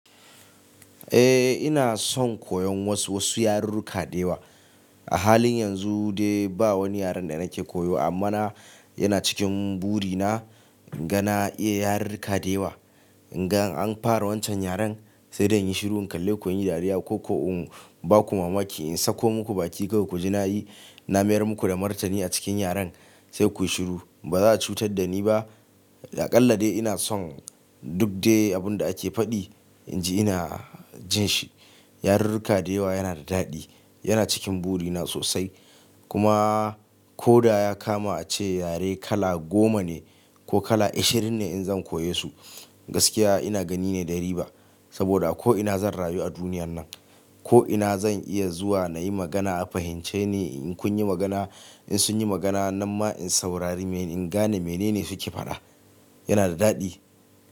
Eh, ina son koyon wasu, wasu yarurruka da yawa. A halin yanzu dai ba wani yaren da nake koyo amma na, yana cikin buri na inga na iya yarurruka da yawa. In ga an fara wancan yaren sai da in yi shiru in kalle ku in yi dariya ko, ko in ba ku mamaki in sako muku baki kawai ku ji nayi, na mayar muku da martani a cikin yaren sai kuyi shiru. Ba za ku cutar da ni ba. Da ƙallade ina son duk dai abin da ake faɗi inji ina jin shi. Yarurruka da yawa yana da daɗi, yana cikin buri na sosai. Kuma ko da ya kama a ce yare kala goma ne ko kala ashirin ne in zan koya su, gaskiya ina gani ne da riba. Saboda ko ina zan rayu a duniyan nan, ko ina zan iya zuwa na yi magana a fahimce ni. In kun yi magana, in sun yi magana nan ma in saurari in gane mene ne suke faɗa. Yana da daɗi.